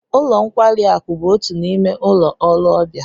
Ụlo nkwari aku bụ otu n'ime ụlọ ọrụ ọbịa